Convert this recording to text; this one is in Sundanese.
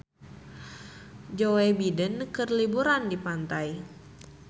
Joe Biden keur liburan di pantai